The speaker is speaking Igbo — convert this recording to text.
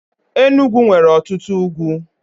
Enugwu nwere otutu ugwu.